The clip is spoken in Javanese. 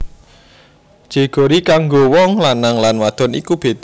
Jeogori kanggo wong lanang lan wadon iku beda